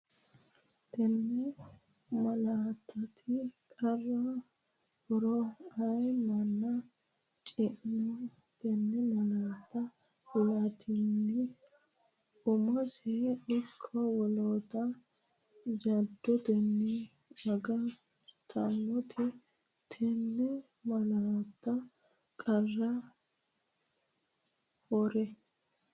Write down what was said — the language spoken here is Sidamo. Tenne malaattati qara horo aye man- chino tenne malaatta la”atenni umosino ikko woloota jaddotenni aga- rateeti Tenne malaattati qara horo.